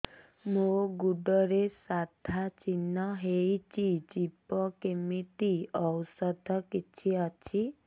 ମୋ ଗୁଡ଼ରେ ସାଧା ଚିହ୍ନ ହେଇଚି ଯିବ କେମିତି ଔଷଧ କିଛି ଅଛି